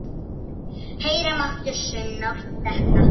Heyra mátti saumnál detta.